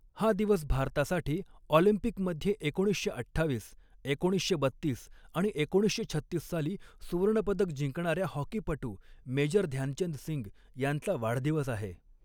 हा दिवस भारतासाठी ऑलिम्पिकमध्ये एकोणीसशे अठ्ठावीस, एकोणीसशे बत्तीस आणि एकोणीसशे छत्तीस साली सुवर्णपदक जिंकणाऱ्या हॉकीपटू मेजर ध्यानचंद सिंग यांचा वाढदिवस आहे.